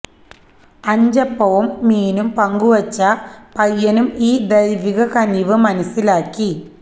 അഞ്ചപ്പവും മീനും പങ്കുവച്ച പയ്യനും ഈ ദൈവിക കനിവ് മനസ്സിലാക്കി